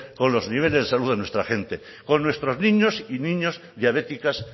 con los niveles de salud de nuestra gente con nuestros niños y niñas diabéticas